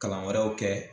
Kalan wɛrɛw kɛ